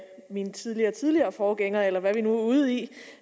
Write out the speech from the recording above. min tidligere tidligere forgængers eller hvad vi nu er ude i